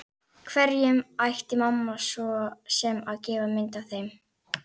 Hverjum ætti mamma svo sem að gefa mynd af þeim?